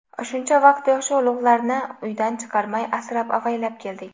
Shuncha vaqt yoshi ulug‘larni uydan chiqarmay, asrab-avaylab keldik.